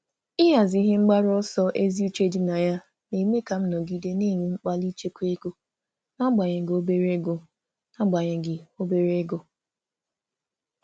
Ịhazi ebumnuche ziri ezi na-eme ka m um nọgide na-akpali ichekwa n’agbanyeghị ego dị ntakịrị.